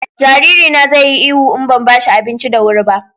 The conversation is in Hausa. jariri na zai yi ihu in ban bashi abinci da wuri ba